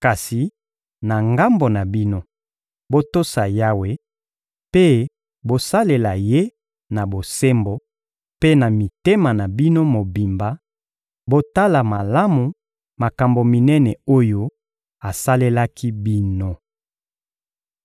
Kasi, na ngambo na bino, botosa Yawe mpe bosalela Ye na bosembo mpe na mitema na bino mobimba; botala malamu makambo minene oyo asalelaki bino.